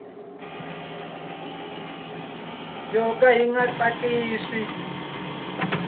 yo ka yi nga tsakisi